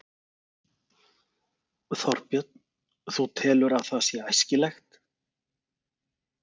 Þorbjörn: Þú telur að það sé æskilegt?